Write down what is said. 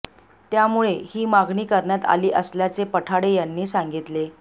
त्यामुळे ही मागणी करण्यात आली असल्याचे पठाडे यांनी सांगितले